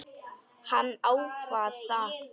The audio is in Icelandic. Hann ákvað það.